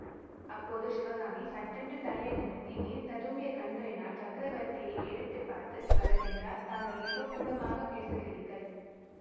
அப்போது சிவகாமி சட்டென்று தலையை நிமிர்த்தி நீர் ததும்பிய கண்களினாற் சக்கரவர்த்தியை ஏறிட்டு பார்த்து பல்லவேந்திரா தாங்கள் ஏதோ கூடமாகப் பேசுகிறீர்கள்